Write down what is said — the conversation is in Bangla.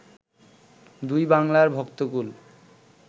দুই বাংলার ভক্তকূল